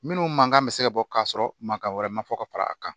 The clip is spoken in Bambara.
Minnu man kan bɛ se ka bɔ k'a sɔrɔ mankan wɛrɛ ma fɔ ka fara a kan